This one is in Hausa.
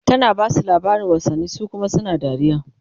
tana Basu labarin wasanni su Kuma suna dariya